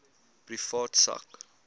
privaat sak